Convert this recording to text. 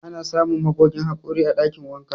Ana samun magogin haƙori a ɗakin wanka.